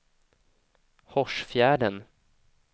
Hårsfjärden